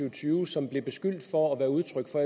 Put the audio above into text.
og tyve som blev beskyldt for at være udtryk for